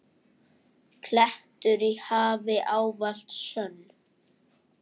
klettur í hafi, ávallt sönn.